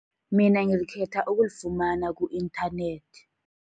Mina ngikhetha ukulifumana ku-internet.